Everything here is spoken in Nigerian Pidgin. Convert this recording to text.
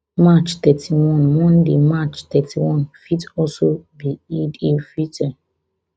march thirty-one monday march thirty-one fit also fit be id el fitteh